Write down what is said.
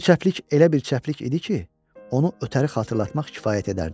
Bu çəplik elə bir çəplik idi ki, onu ötəri xatırlatmaq kifayət edərdi.